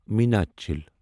میناچل